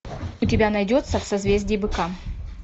у тебя найдется в созвездии быка